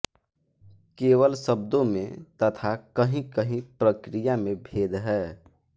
केवल शब्दों में तथा कहींकहीं प्रक्रिया में भेद है